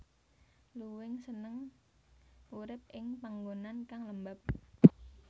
Luwing seneng urip ing panggonan kang lembab